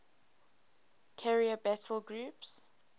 carrier battle group